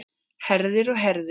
Herðir og herðir.